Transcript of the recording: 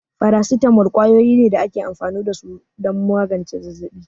Faracetamol kwayoyi ne da ake amfani da su don magance zazzabi.